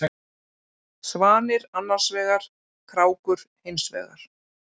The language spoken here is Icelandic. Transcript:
Svanir annarsvegar, krákur hinsvegar.